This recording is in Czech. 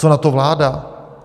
Co na to vláda?